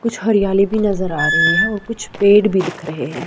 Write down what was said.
कुछ हरियाली भी नजर आ रही है औ कुछ पेड़ भी दिख रहे हैं।